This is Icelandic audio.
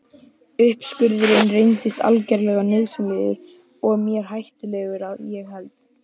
Uppskurðurinn reyndist algerlega nauðsynlegur og mér hættulegur að ég held.